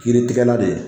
Kiritigɛla de